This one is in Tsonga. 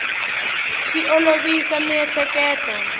swi olovisa miehleketo